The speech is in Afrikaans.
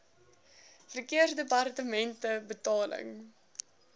verkeersdepartementebetaling